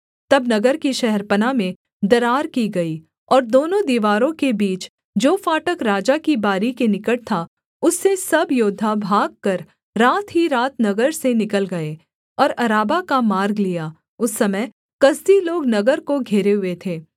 तब नगर की शहरपनाह में दरार की गई और दोनों दीवारों के बीच जो फाटक राजा की बारी के निकट था उससे सब योद्धा भागकर रात ही रात नगर से निकल गए और अराबा का मार्ग लिया उस समय कसदी लोग नगर को घेरे हुए थे